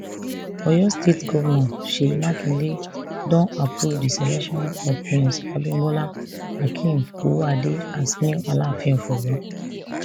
oyo state govnor seyi makinde don approve di selection of prince abimbola akeem owoade as new alaafin of oyo